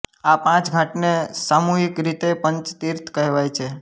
આ પાંચ ઘાટને સામૂહિક રીતે પંચતીર્થ કહેવાય છે